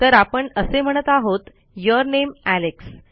तर आपण असे म्हणत आहोत यूर नामे एलेक्स